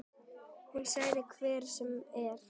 Hún segir hvað sem er.